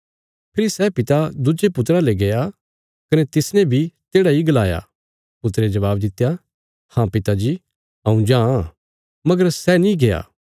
फेरी सै पिता दुज्जे पुत्रा ले गया कने तिसने बी तेढ़ा इ गलाया पुत्रे जबाब दित्या हाँ पिता जी हऊँ जां मगर सै नीं गया